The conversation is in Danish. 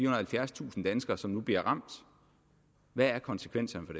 og halvfjerdstusind danskere som nu bliver ramt hvad konsekvenserne